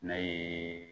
Ne ye